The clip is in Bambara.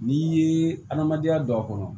N'i ye adamadenya don a kɔnɔ